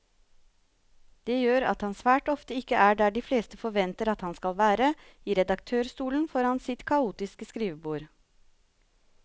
Det gjør at han svært ofte ikke er der de fleste forventer at han skal være, i redaktørstolen foran sitt kaotiske skrivebord.